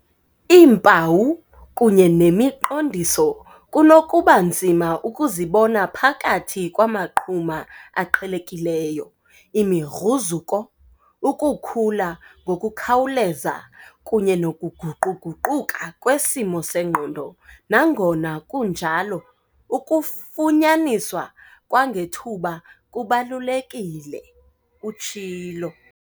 "Iimpawu kunye nemi qondiso kunokuba nzima ukuzibona phakathi kwamaqhuma aqhelekileyo, imigruzuko, ukukhula ngokukhawuleza kunye nokuguquguquka kwesimo sengqondo. Nangona kunjalo, ukufunyaniswa kwangethuba kubalulekile," utshilo.